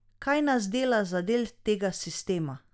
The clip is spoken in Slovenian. Kaj nas dela za del tega sistema?